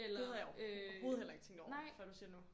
Det havde jeg overhovedet heller ikke tænkt over før du siger det nu